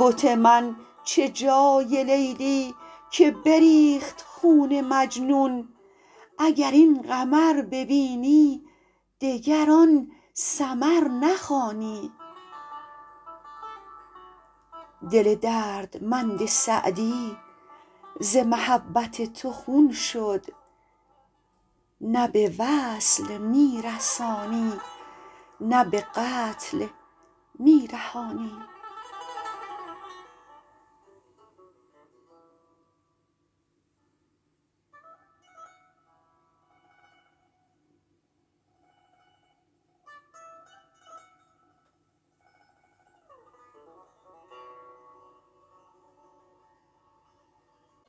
بت من چه جای لیلی که بریخت خون مجنون اگر این قمر ببینی دگر آن سمر نخوانی دل دردمند سعدی ز محبت تو خون شد نه به وصل می رسانی نه به قتل می رهانی